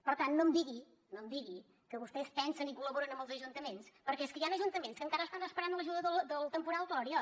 per tant no em digui que vostès pensen i col·laboren amb els ajuntaments perquè és que hi han ajuntaments que encara estan esperant l’ajuda del temporal gloria